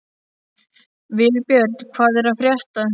Vilbjörn, hvað er að frétta?